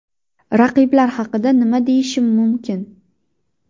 Raqiblar haqida nima deyishim mumkin?